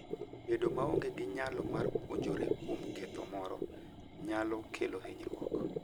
Bedo maonge gi nyalo mar puonjore kuom ketho moro, nyalo kelo hinyruok